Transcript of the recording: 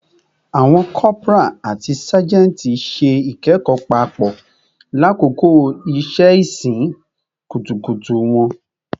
Awọn corporal ati sajenti ṣe ikẹkọ papọ lakoko iṣẹ-isin kutukutu wọn